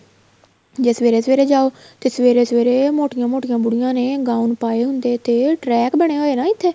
ਜ਼ੇ ਸਵੇਰੇ ਸਵੇਰੇ ਜਾਓ ਤੇ ਸਵੇਰੇ ਸਵੇਰੇ ਮੋਟੀਆਂ ਮੋਟੀਆਂ ਬੁੜੀਆਂ ਨੇ gown ਪਾਹੇ ਹੁੰਦੇ ਤੇ track ਬਣਿਆ ਹੋਇਆ ਨਾ ਇੱਥੇ